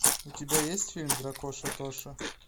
у тебя есть фильм дракоша тоша